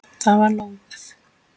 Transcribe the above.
Það var lóðið!